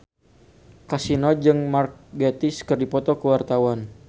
Kasino jeung Mark Gatiss keur dipoto ku wartawan